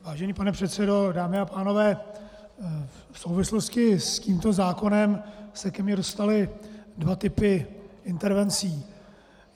Vážený pane předsedo, dámy a pánové, v souvislosti s tímto zákonem se ke mně dostaly dva typy intervencí.